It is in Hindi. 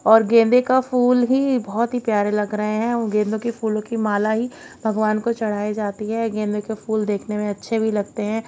और गेंदे का फूल ही बहोत ही प्यारे लग रहे हैं उन गेंदों के फूलों की माला ही भगवान को चढ़ाई जाती है गेंदे के फूल देखने में अच्छे भी लगते हैं।